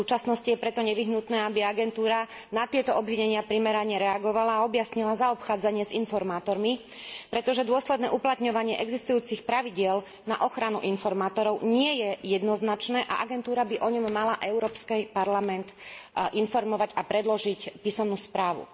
V súčasnosti je preto nevyhnutné, aby agentúra na tieto obvinenia primerane reagovala a objasnila zaobchádzanie s informátormi, pretože dôsledné uplatňovanie existujúcich pravidiel na ochranu informátorov nie je jednoznačné a agentúra by o ňom mala Európsky parlament informovať a predložiť písomnú správu.